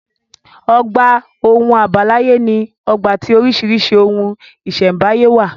Ọgbà ohun àbáláyé ní ọgbà tí oríṣìíríṣìí ohun ìṣẹ̀m̀báyé wà.